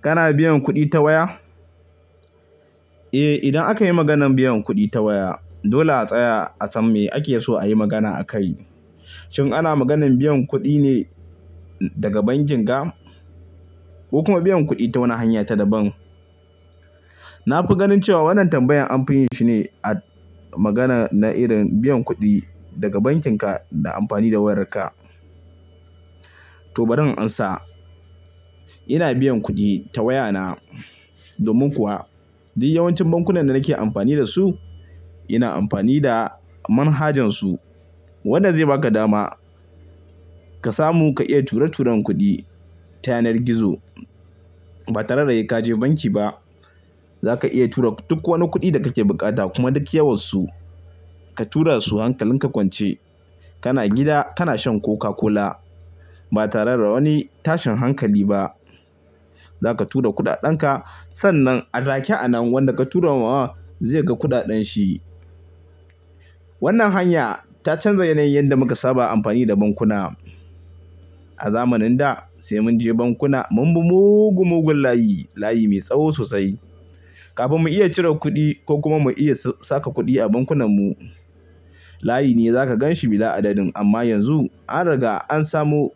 Kana biyan kuɗi ta waya? Eh, idan aka yi maganan biyan kuɗi ta waya, dole a tsaya a san me ake so a yi magana akai. Shin ana maganan biyan kuɗi ne daga banki ga, ko kuma biyan kuɗi ta wani hanya ta daban. Na fi ganin cewa wannan tambayan an fiyin shi ne a magana na irin biyan kuɗi daga bankin ka da amfani da wayar ka. To, bari in amsa. Ina biyan kuɗi ta waya na. Domin kuwa, duk yawancin bankunan da nake amfani da su, ina amfani da manhajan su, wanda zai ba ka dama ka samu ka iya ture-turen kuɗi ta yanar gizo. Ba tare da sai je banki ba, za ka iya tura duk wani kuɗi da kake buƙata kuma duk yawansu ka tura su hankalin ka kwance. Kana gida, kana shan Coca-Cola. Ba tare da wani tashin hankali ba. Za ka tura kuɗaɗen ka, sannan a take a nan wanda ka tura wa zai ga kuɗaɗan shi. Wannan hanya ta canza yanayin da muka saba amfani da bankuna. A zamanin da sai mun je bankuna, mun bi mugun-mugun layi, layi mai tsawo sosai, kafin mu iya cire kuɗi ko kuma mu iya saka kuɗi a bankunan mu. Layi ne za ka gan shi bila'adadin. Amma yanzu an riga an samu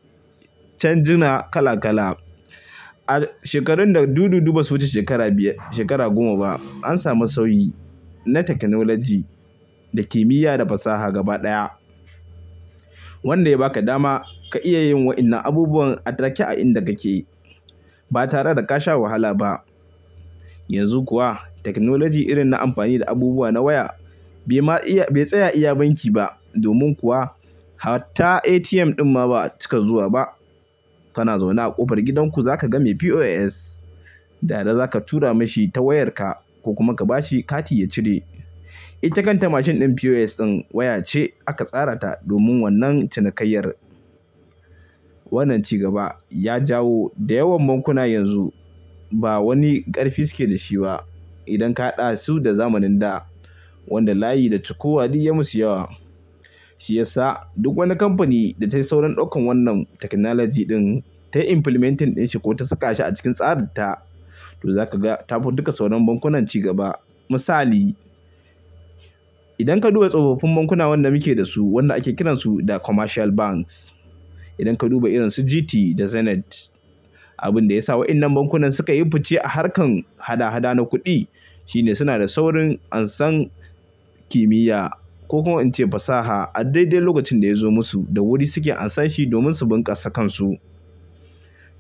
canjuna kala kala. A shekarun da dudu dudu ba su wuce shekara biyar, shekara goma ba, an samu sauyi na tekanolaji da kimiyya da fasaha gaba ɗaya, wanda ya ba ka dama ka iya yin wa'innan abubuwan a take a inda kake ba tare da ka sha wahala ba. Yanzu kuwa, tekinolaji irin na amfani da abubuwa na waya bai ma iya, bai tsaya iya banki ba. Domin kuwa, har ta ATM ɗin ma ba a ci ka zuwa ba. Kana zaune a ƙofar gidan ku za ka ga mai POS, dada za ka tura mashi ta wayar ka ko kuma ka ba shi kati ya cire. Itace kan ta mashin ɗin POS ɗin waya ce aka tsara ta domin wannan cinikayyar. Wannan ci gaba ya jawo da yawan bankuna yanzu ba wani ƙarfi suke da shi ba idan ka haɗa su da zamanin da, wanda layi da cokuwa duk ya musu yawa. Shi ya sa duk wani kamfani da ta yi sauran ɗaukan wannan tekinolaji ɗin, ta implementing ɗin shi ko ta saka shi a cikin tsarinta, to za ka ga ta fi duka sauran bankunan cigaba. Misali, idan ka duba tsofaffin bankuna wanda muke da su, wanda ake kiransu da commercial banks. Idan ka duba irin su GT da Zenith, abin da ya sa wa'innan bankunan suka yi fice a harkar hada-hada na kuɗi shine suna da saurin ansan kimiyya ko kuma in ce fasaha a dai dai lokacin da ya zo musu, da wuri suke amsa shi domin su bunƙasa kan su.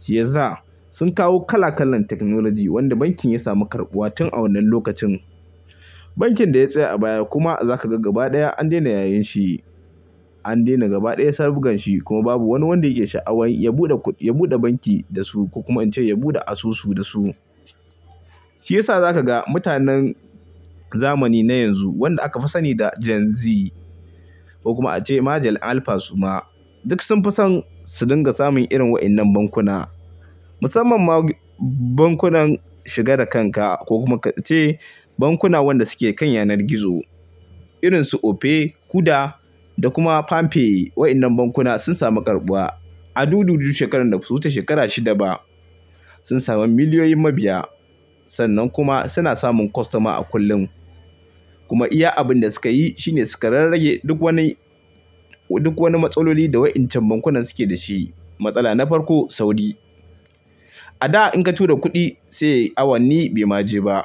Shi ya sa sun kawo kala kalan tekinolaji wanda bankin ya samu karɓuwa tun a wannan lokacin. Bankin da ya tsaya a baya kuma za ka ga gaba ɗaya an daina yayen shi, an daina gaba ɗaya sabganshi kuma babu wani wanda yake sha'awan ya buɗe, ya buɗe banki da su ko kuma in ce ya buɗe asusu da su. Shi ya sa za ka ga mutanen zamani na yanzu, wanda aka fi sani da Gen Z ko kuma ace Majal Alfas su ma, duk sun fi son su dinga samun irin wa'innan bankuna. Musamman ma bankunan shiga da kan ka ko kuma a ce bankuna wanda suke kan yanar gizo, irin su Opay, Kuda da kuma Palmpay. Wa'innan bankuna sun samu karɓuwa. A du du du shekarun da ba su wuce shekara shida ba, sun sami miliyoyin mabiya. Sannan kuma suna samun kwastoma a kullum. Kuma iya abin da sukayi shine su ka rarrage duk wani, duk wani matsaloli da wa'incan bankunan suke da shi. Matsala na farko, sauri. A da in ka tura kuɗi, sai awanni bai ma je ba.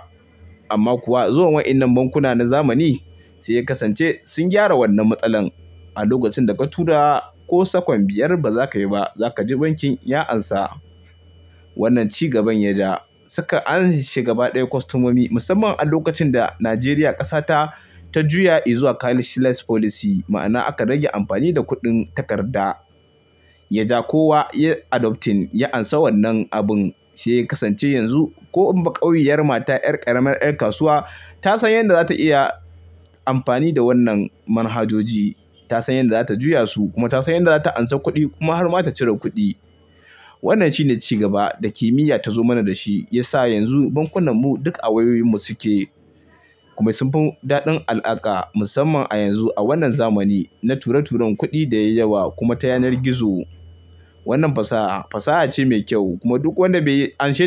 Amma kuwa zuwan wa'innan bankuna na zamani sai ya kasance sun gyara wannan matsalan. A lokacin da ka tura ko sakon biyar ba za ka yi ba, za ka ji bankin ya amsa. Wannan ci gaban ya ja-- suka anshi gaba ɗaya kwastomomi musamman a lokacin da Najeriya ƙasa ta, ta juya izuwa cashless policy, ma'ana aka rage amfani da kuɗin takarda. Ya ja kowa ya adopting, ya amsa wannan abin, sai ya kasance yanzu ko in ba ƙauyiyar mata, 'yar ƙaramar 'yar kasuwa ta san yadda za ta iya amfani da wannan manhajoji. Ta san yadda za ta juya su kuma ta san yadda za ta amsa kuɗi kuma har ma ta cire kuɗi. Wannan shine ci gaba da kimiyya ta zo mana da shi, ya sa yanzu bankunan mu duk a wayoyin mu suke. Kuma sun fi daɗin alaƙa musamman a yanzu a wannan zamani na ture-turen kuɗi da yayi yawa kuma ta yanar gizo. Wannan fasaha, fasaha ce mai kyau kuma duk wanda bai amshe.